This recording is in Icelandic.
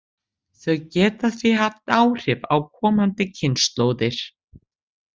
Þau geta því haft áhrif á komandi kynslóðir.